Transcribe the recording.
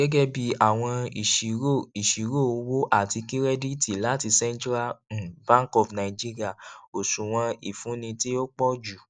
gẹgẹbi awọn iṣiro iṣiro owo ati kirẹditi lati central um bank of nigeria oṣuwọn ifunni ti o pọju